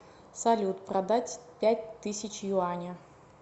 салют продать пять тысяч юаня